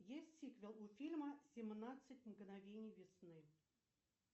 есть сиквел у фильма семнадцать мгновений весны